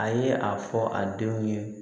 A ye a fɔ a denw ye